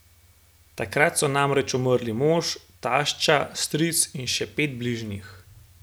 Takrat so namreč umrli mož, tašča, stric in še pet bližnjih.